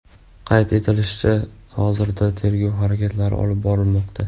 Qayd etishlaricha, hozirda tergov harakatlari olib borilmoqda.